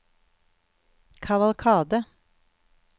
kavalkade